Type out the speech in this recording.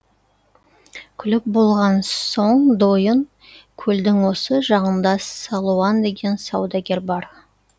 күліп болған соң дойын көлдің осы жағында салуан деген саудагер бар